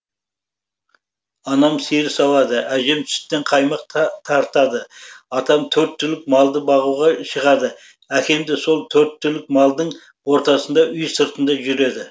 анам сиыр сауады әжем сүттен қаймақ тартады атам төрт түлік малды бағуға шығады әкемде сол төрт түлік малдың ортасында үй сыртында жүреді